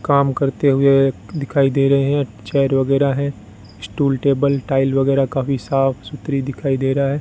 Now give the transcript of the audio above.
काम करते हुए दिखाई दे रहे हैं चेयर वगैरा हैं स्टूल टेबल टाइल वगैरा काफी साफ सुथरी दिखाई दे रहा है।